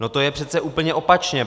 No to je přece úplně opačně.